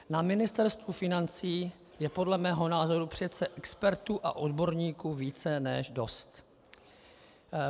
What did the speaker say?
Na Ministerstvu financí je podle mého názoru přece expertů a odborníků více než dost.